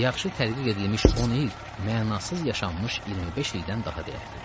Yaxşı tədqiq edilmiş 10 il mənasız yaşanmış 25 ildən daha dəyərlidir.